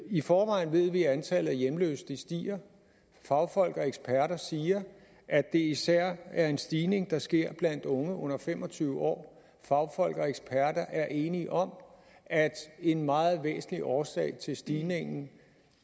i forvejen ved vi at antallet af hjemløse stiger fagfolk og eksperter siger at det især er en stigning der sker blandt unge under fem og tyve år fagfolk og eksperter er enige om at en meget væsentlig årsag til stigningen